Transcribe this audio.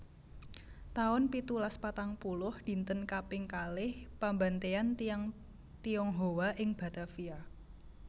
taun pitulas patang puluh Dinten kaping kalih pambantaian tiyang Tionghoa ing Batavia